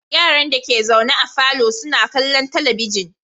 Yaran dake zaune a falo suna kallon talabijin